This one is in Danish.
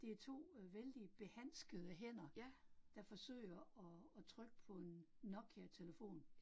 Det er 2 øh vældig behanskede hænder, der forsøger at at trykke på en Nokia telefon